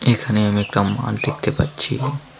এখানে আমি একটা মাঠ দেখতে পাচ্ছি.